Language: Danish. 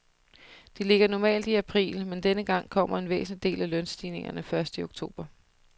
De ligger normalt i april, men denne gang kommer en væsentlig del af lønstigningerne først til oktober.